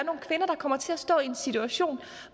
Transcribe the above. kommer til at stå i en situation